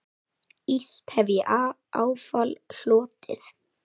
Illt hef ég áfall hlotið.